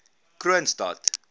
kroonstad